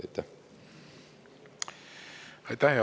Aitäh!